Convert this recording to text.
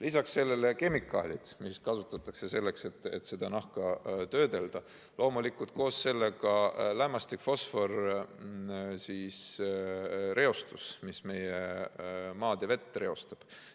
Lisaks sellele kemikaalid, mida kasutatakse selleks, et nahka töödelda, ja loomulikult koos sellega lämmastiku- ja fosforireostus, mis meie maad ja vett reostab.